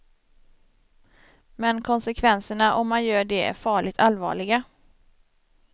Men konsekvenserna om man gör det är farligt allvarliga.